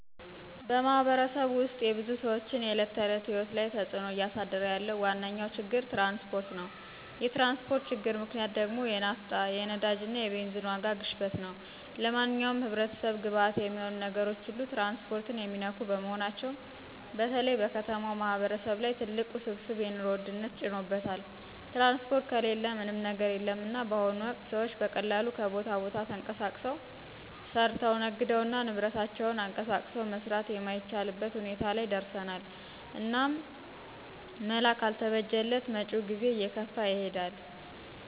በማህበረሰቡ ውስጥ የብዙ ሰዎችን የዕለት ተዕለት ሕይወት ላይ ተፅዕኖ እያሳደረ ያለው ዋነኛው ችግር ትራንስፖርት ነው። የትራንስፖርት ችግር ምክንያት ደግሞ የናፍታ፣ የነዳጅና የቤዚን ዋጋ ግሽበት ነው። ለማንኛውም ህብረተሰብ ግብዓት የሚሆኑ ነገሮች ሁሉ ትራንስፖርትን የሚነኩ በመሆናቸው በተለይ በከተማው ማህበረሰብ ላይ ትልቅ ውስብስብ የኑሮ ውድነት ጭኖበታል። ትራንስፖርት ከሌለ ምንም ነገር የለምና በአሁኑ ወቅት ሰዎች በቀላሉ ከቦታ ቦታ ተንቀሳቅሰው፣ ሰርተው፣ ነግደውና ንብረታቸውን አንቀሳቅሰው መስራት የማይቻልበት ሁኔታ ላይ ደርሰናል። እናም መላ ካልተበጀለት መጭው ጊዜ እየከፋ ይሄዳል።